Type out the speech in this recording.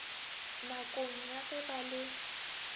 nakong ya ge ba le